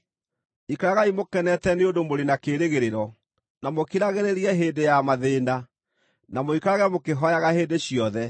Ikaragai mũkenete nĩ ũndũ mũrĩ na kĩĩrĩgĩrĩro, na mũkiragĩrĩrie hĩndĩ ya mathĩĩna, na mũikarage mũkĩhooyaga hĩndĩ ciothe.